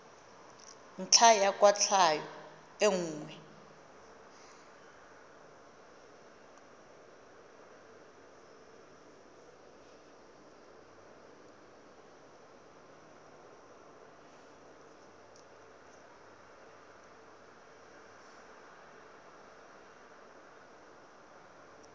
ntlha ya kwatlhao e nngwe